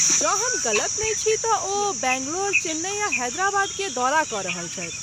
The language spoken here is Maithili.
जँ हम गलत नहि छी तँ ओ बैंगलोर, चेन्नई आ हैदराबाद के दौरा कऽ रहल छथि।